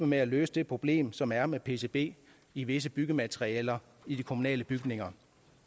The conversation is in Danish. med at løse det problem som der er med pcb i visse byggematerialer i de kommunale bygninger